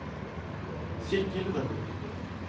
Sykkylven